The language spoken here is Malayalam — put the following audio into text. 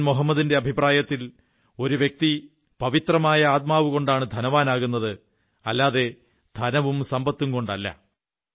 പ്രവാചകൻ മുഹമ്മദിന്റെ അഭിപ്രായത്തിൽ ഒരു വ്യക്തി പവിത്രമായ ആത്മാവുകൊണ്ടാണ് ധനവാനാകുന്നത് അല്ലാതെ ധനവും സമ്പത്തും കൊണ്ടല്ല